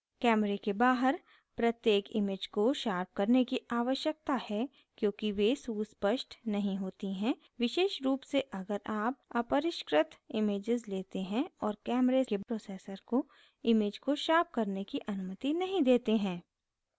camera के बाहर प्रत्येक image को sharpen करने की आवश्यकता है क्योंकि वे सुस्पष्ट नहीं होती हैं विशेष रूप से अगर आप अपरिष्कृत raw images लेते हैं और camera के processor को image को शॉर्प करने की अनुमति नहीं देते हैं